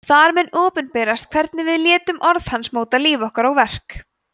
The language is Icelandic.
þar mun opinberast hvernig við létum orð hans móta líf okkar og verk